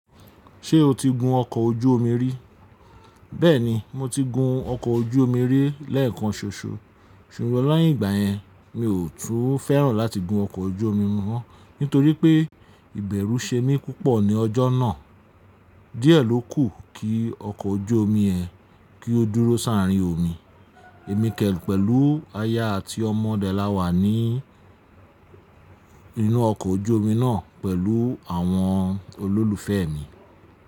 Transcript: Ṣé o ti gun ọkọ̀ ojú omi rí? Bẹ́ẹ̀ni, mo ti gun ọkọ̀ ojú omi rí lẹ́ẹ̀kan ṣoṣo. Ṣùgbọ́n láyé ìgbà yẹn, mi ò tún fẹ́ràn láti gun ọkọ̀ ojú omi mọ́, nítorí pé ìbẹ̀rú ṣe mí púpọ̀ ní ọjọ́ náà. Díẹ̀ ló kù kí ọkọ̀ ojú omi ẹ́ kí ó dúró sáàrín omi. Èmi kẹ́ pẹ̀lú aya àti ọmọ dẹ láwa ní inú ọkọ̀ ojú omi náà pẹ̀lú àwọn olólùfẹ́ mi.